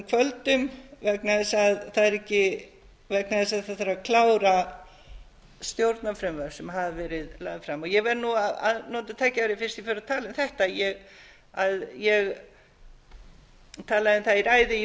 kvöldum vegna þess að það þarf að klára stjórnarfrumvörp sem hafa verið lögð fram ég verð nú að nota tækifærið fyrst ég fór að tala um þetta að ég talaði um það í ræðu í